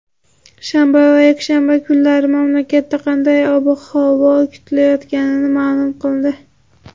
shanba va yakshanba kunlari mamlakatda qanday ob-havo kutilayotganini ma’lum qildi.